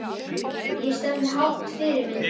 Ég stefni hátt Fyrirmynd?